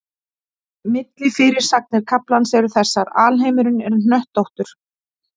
Millifyrirsagnir kaflans eru þessar: Alheimurinn er hnöttóttur.